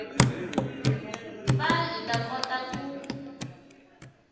va hi ta kota ku